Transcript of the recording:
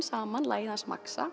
saman lagið hans